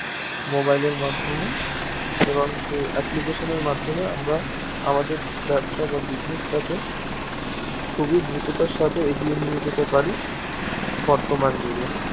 mobile এর মাধ্যমে এবং সেই application এর মাধ্যমে আমরা আমাদের ব্যবসা বা business তা কে খুবই দ্রুততার সাথে এগিয়ে নিয়ে যেতে পারি বর্তমান যুগে